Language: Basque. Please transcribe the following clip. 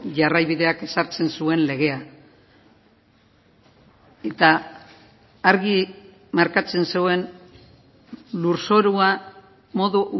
jarraibideak ezartzen zuen legea eta argi markatzen zuen lurzorua modu